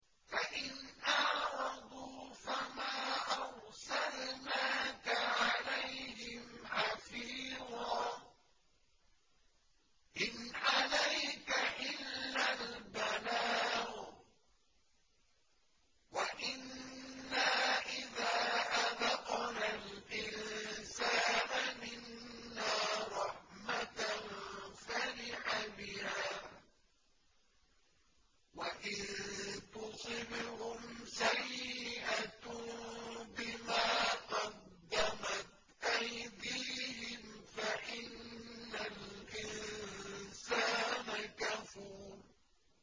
فَإِنْ أَعْرَضُوا فَمَا أَرْسَلْنَاكَ عَلَيْهِمْ حَفِيظًا ۖ إِنْ عَلَيْكَ إِلَّا الْبَلَاغُ ۗ وَإِنَّا إِذَا أَذَقْنَا الْإِنسَانَ مِنَّا رَحْمَةً فَرِحَ بِهَا ۖ وَإِن تُصِبْهُمْ سَيِّئَةٌ بِمَا قَدَّمَتْ أَيْدِيهِمْ فَإِنَّ الْإِنسَانَ كَفُورٌ